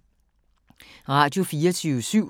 Radio24syv